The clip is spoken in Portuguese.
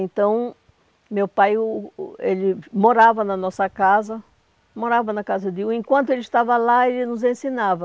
Então, meu pai o o, ele morava na nossa casa, morava na casa de um, enquanto ele estava lá, ele nos ensinava.